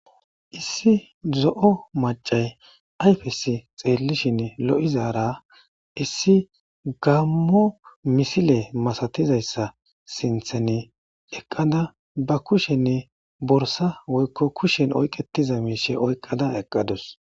Issi zo7o macay ayfesi xeellishin lo7izara issi gammo misile masatizayssa sinthene eqqada ba kushenne borsa woykko kushen oyqetiza miishe oyqqada eqqadus.